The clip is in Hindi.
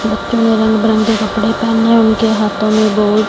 लड़के ने रंग बिरंगे कपड़े पहने है उनके हाथों में बहुत--